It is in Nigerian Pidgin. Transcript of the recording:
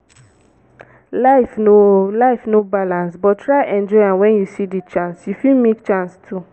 life no life no balance but try enjoy am when you see di chance you fit make chance too